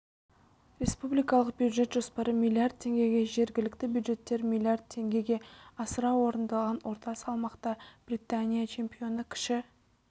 республикалық бюджет жоспары миллиард теңгеге жергілікті бюджеттер миллиард теңгеге асыра орындалған орта салмақта британия чемпионы кіші